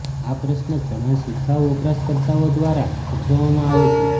આ પ્રશ્ન ઘણા શિખાઉ વપરાશકર્તાઓ દ્વારા પૂછવામાં આવે છે